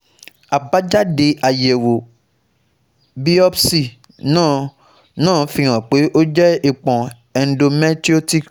abájáde àyẹ̀wò biopsi náà náà fi hàn pé ó jẹ́ ìpọ́n endometriotic